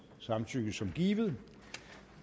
samtykke som givet